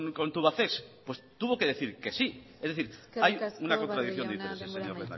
con tubacex pues tuvo que decir que sí es decir hay una contradicción de intereses señor